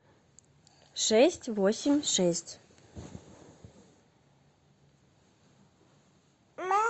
шесть восемь шесть